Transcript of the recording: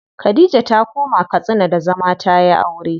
Khadija ta koma Katsina da zama da tayi aure.